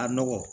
A nɔgɔ